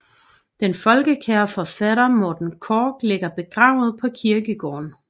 Den folkekære forfatter Morten Korch ligger begravet på kirkegården